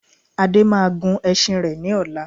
Ade máa gun ẹṣin rẹ ní ọ̀la